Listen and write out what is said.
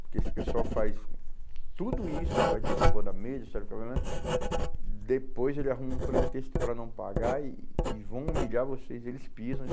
Porque esse pessoal faz tudo isso, e vai pondo a mesa, depois ele arruma um pretexto para não pagar e e vão humilhar vocês, eles pisam.